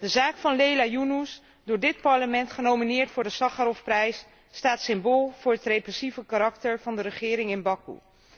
De zaak van Leyla Yunus, door dit Parlement genomineerd voor de Sacharovprijs, staat symbool voor het repressieve karakter van de regering in Bakoe.